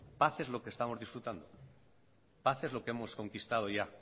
paz es lo que estamos disfrutando paz es lo que hemos conquistado ya